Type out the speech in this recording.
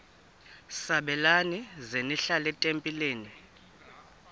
sabelani zenihlal etempileni